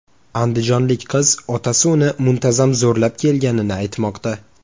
Andijonlik qiz otasi uni muntazam zo‘rlab kelganini aytmoqda.